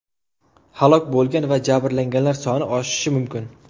Halok bo‘lgan va jabrlanganlar soni oshishi mumkin.